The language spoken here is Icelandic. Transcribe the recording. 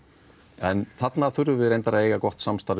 en þarna þurfum við að eiga gott samstarf